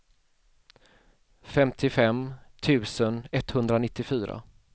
femtiofem tusen etthundranittiofyra